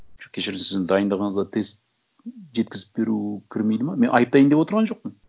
жоқ кешіріңіз сіздің дайындығыңызға тест жеткізіп беру кірмейді ме мен айыптайын деп отырған жоқпын